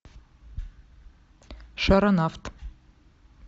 шаронавт